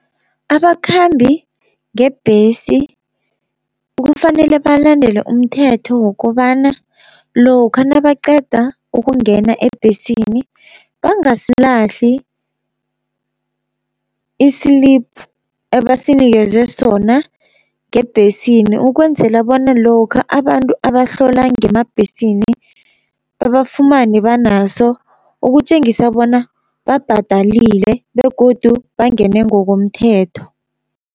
Abakhambi ngebhesi kufanele balandele umthetho wokobana lokha nabaqeda ukungena ebhesini, bangasilahli i-slip ebasinikeze sona ngebhesini ukwenzela bona lokha abantu abahlola ngemabhesini babafumane banaso, ukutjengisa bona babhadalile begodu bangene ngokomthetho.